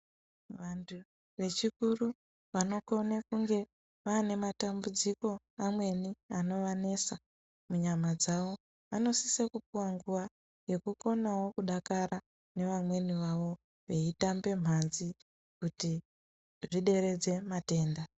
Vantu vechikuru vanokone kunge vanematambudziko amweni anovanetsa munyama dzavo. Vanosise kupuwa nguwa yekukonawo kudakara nevamweni vavo, veyitambe mhandzi kuti zvideredze matenda.